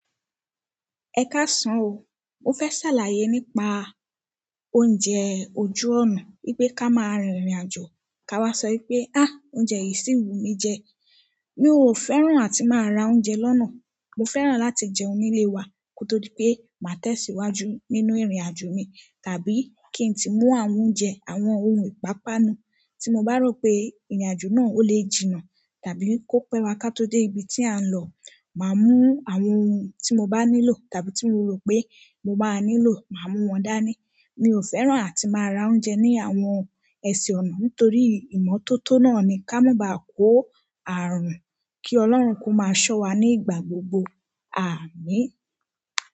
Ẹ ká sàn o. Mo fẹ́ sàlàyé nípa oúnjẹ ojú ọ̀nà. Bípé ká máa rìnrìn àjò ká wá sọ pé, "Á, oúnjẹ yìí ṣì ń wù mí jẹ." Mi ò fẹ́ràn àti máa ra oúnjẹ lọ́nà. Mo fẹ́ràn láti jẹun nílé wa kó tó pé máa tẹ̀síwájú nínú ìrìnàjò mi tàbí kí n tí mú àwọn oúnjẹ, àwọn ohun ìpápánu. Tí mo bá rò pé ìrìnàjò náà ó lè jìnnà tàbí kó pẹ́ wá ká tó dé ibi tí à ń lọ, màá mú àwọn ohun tí mo bá nílò tàbí tí mo rò pé mo máa nílò, màá mú wọn dání. Mi ò fẹ́ràn àti máa ra oúnjẹ ní àwọn ẹsẹ̀ ọ̀nà nítorí ìmọ́tótó náà ni ká má bá kó ààrùn. Ki ọlọ́run ko ma so wa nígbà gbogbo, aamin.